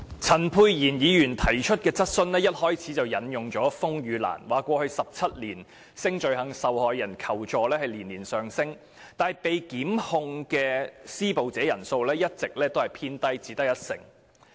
陳沛然議員提出的主體質詢一開始便引述，風雨蘭在過去17年接獲性罪行受害人求助的個案年年上升，但被檢控的施暴者人數卻一直偏低，只有約一成。